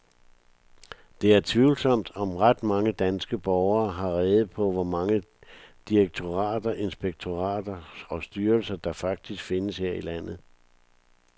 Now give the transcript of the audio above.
Det er tvivlsomt, om ret mange danske borgere har rede på, hvor mange direktorater, inspektorater og styrelser, der faktisk findes her i landet.